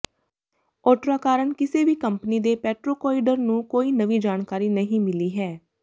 ਓਟ੍ਰਾ ਕਾਰਨ ਕਿਸੇ ਵੀ ਕੰਪਨੀ ਦੇ ਪੈਟਰੋਕੋਇਡਰ ਨੂੰ ਕੋਈ ਨਵੀਂ ਜਾਣਕਾਰੀ ਨਹੀਂ ਮਿਲੀ ਹੈ